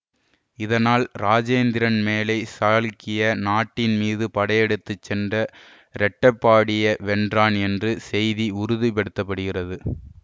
இதனால் இராஜேந்திரன் மேலை சாளுக்கிய நாட்டின் மீது படையெடுத்து சென்ற இரட்டபாடிய வென்றான் என்று செய்தி உறுதிப்படுத்தப்படுகிறது